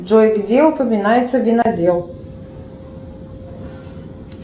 джой где упоминается винодел